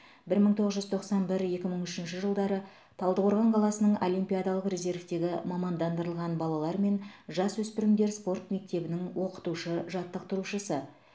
бір мың тоғыз жүз тоқсан бір екі мың үшінші жылдары талдықорған қаласының олимпиадалық резервтегі мамандандырылған балалар мен жасөспірімдер спорт мектебінің оқытушы жаттықтырушысы